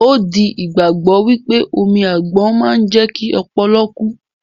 Ó di ìgbàgbọ́ wípé omi àgbon máa ń jẹ́kí ọpọlọ kú